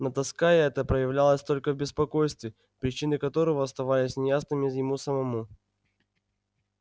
но тоска эта проявлялась только в беспокойстве причины которого оставались неясными ему самому